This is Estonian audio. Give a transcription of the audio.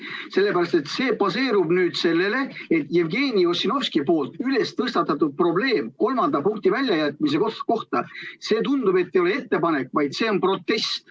Sellepärast et see baseerub nüüd sellele, et Jevgeni Ossinovski tõstatatud probleem, mis puudutab kolmanda punkti väljajätmist – tundub, et see ei ole ettepanek, vaid protest.